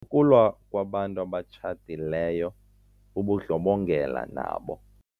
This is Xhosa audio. Ukulwa kwabantu abatshatileyo bubundlobongela nabo.